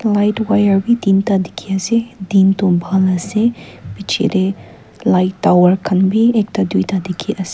aro etu wire b dinta diki ase din tu bhal ase biche de light tower kan b ekta tuita diki ase.